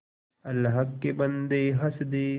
अल्लाह के बन्दे हंस दे